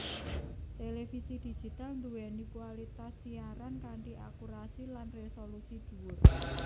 Télévisi Digital duwéni kualitas siaran kanthi akurasi lan resolusi duwur